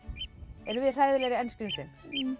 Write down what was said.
erum við hræðilegri en skrímslin